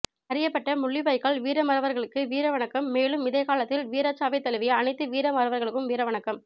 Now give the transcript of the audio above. அறியப்பட்ட முள்ளிவாய்க்கால் வீரமறவர்களுக்கு வீரவணக்கம் மேலும் இதே காலத்தில் வீரச்சாவைத் தழுவிய அனைத்து வீரமறவர்களுக்கும் வீரவணக்கம்